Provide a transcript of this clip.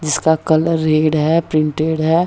जिसका colour red है printed है।